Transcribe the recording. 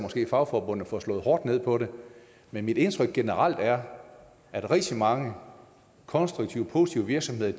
fagforbundene får slået hårdt ned på det men mit indtryk generelt er at rigtig mange konstruktive positive virksomheder